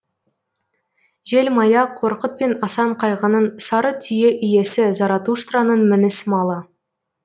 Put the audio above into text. жел мая қорқыт пен асан қайғының сары түйе иесі заратуштраның мініс малы